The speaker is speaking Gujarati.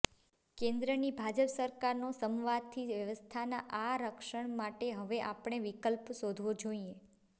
કેન્દ્રની ભાજપ સરકારનો સમવાથી વ્યવસ્થાના આ રક્ષણ માટે હવે આપણે વિકલ્પ શોધવો જોઇએ